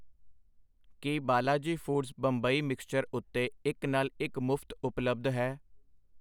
ਕੀ Balaji foods Bombay mixture ਉੱਤੇ ਇੱਕ ਨਾਲ ਇੱਕ ਮੁਫਤ ਉਪਲਬਧ ਹੈ?